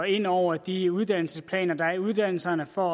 ind over de uddannelsesplaner der er for uddannelserne for